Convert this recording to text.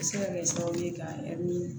A bɛ se ka kɛ sababu ye ka